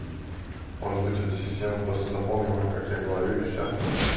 может быть это система просто запомнила как я говорю и всё